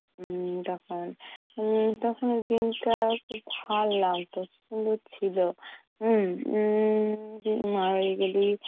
উম তখন~ তখনের দিনটা খুব ভাল্ লাগতো উম উম উম্ম মামার বাড়ি গেলে